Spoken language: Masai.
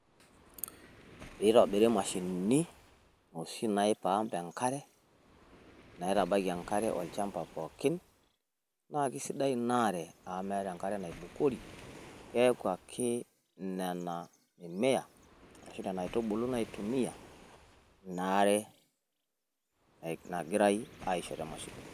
Pee eitobiri imashini oshi nai pump enkare naitabaiki enkare olchamba pookin. Naa keisidai ina are amu meeta enkare naibukori keaku ake nena mimea ashu nena aitubulu naitumia ina are nagirai aisho te mashini.